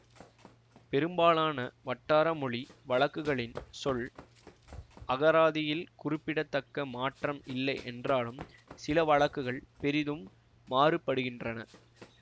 பெரும்பாலான வட்டார மொழி வழக்குகளின் சொல் அகராதியில் குறிப்பிட தக்க மாற்றம் இல்லை என்றாலும் சில வழக்குகள் பெரிதும் மாறுபடுகின்றன